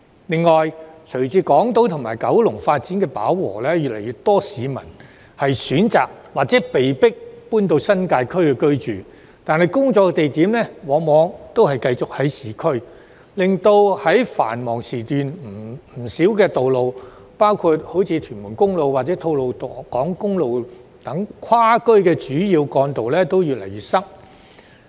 另外，隨着港島及九龍發展飽和，越來越多市民選擇或被迫搬到新界區居住，但他們工作的地點往往仍在市區，因而令不少跨區主要幹道，包括屯門公路及吐露港公路，在繁忙時段越來越擠塞。